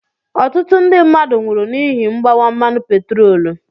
Ọtụtụ ndị mmadụ nwụrụ n'ihi mgbawa mmanụ petroolu.